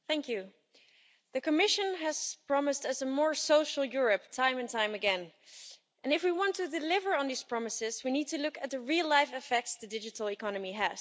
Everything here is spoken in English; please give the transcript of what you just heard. Madam President, the Commission has promised us a more social Europe time and time again, and if we want to deliver on these promises we need to look at the real life effects the digital economy has.